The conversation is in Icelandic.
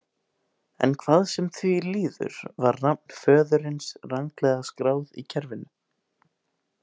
En hvað sem því líður var nafn föðurins ranglega skráð í kerfinu.